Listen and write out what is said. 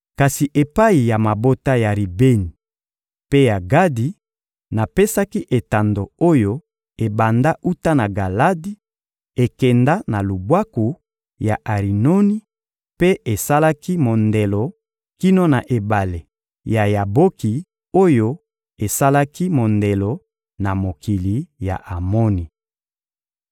Kasi epai ya mabota ya Ribeni mpe ya Gadi, napesaki etando oyo ebanda wuta na Galadi, ekenda na lubwaku ya Arinoni mpe esalaki mondelo kino na ebale ya Yaboki oyo esalaki mondelo na mokili ya Amoni.